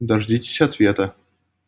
дождитесь ответа